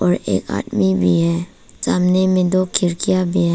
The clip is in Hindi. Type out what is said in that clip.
और एक आदमी भी है सामने में दो खिड़कियां भी ह--